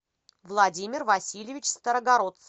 владимир васильевич старогородцев